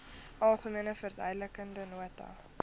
algemene verduidelikende nota